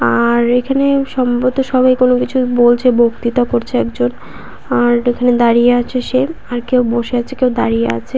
আ-আ-র এখানে সম্ভবত সবাই কোনোকিছু বলছে। বক্তৃতা করছে একজন আর এখানে দাঁড়িয়ে আছে সে। আর কেউ বসে আছে কেউ দাঁড়িয়ে আছে।